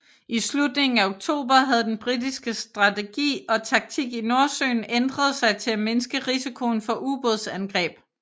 I slutningen af oktober havde den britiske strategi og taktik i Nordsøen ændret sig til at mindske risikoen for ubådsangreb